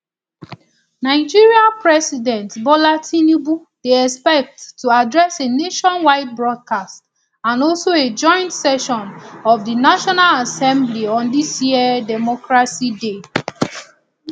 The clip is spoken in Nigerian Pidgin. nigeria president bola tinubu dey expected to address a nationwide broadcast and also a joint session of di national assembly on dis year democracy day